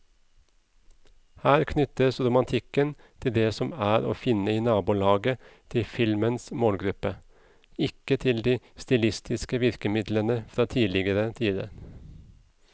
Her knyttes romantikken til det som er å finne i nabolaget til filmens målgruppe, ikke til de stilistiske virkemidlene fra tidligere tider.